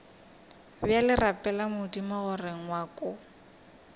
bjale rapela modimo gore ngwako